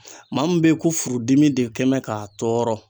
Maa min be ye ko furudimi de kɛ mɛ k'a tɔɔrɔ